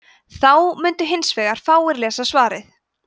þá mundu hins vegar fáir lesa svarið